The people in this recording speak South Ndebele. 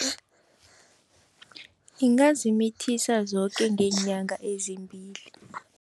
Ingazimithisa zoke ngeenyanga ezimbili.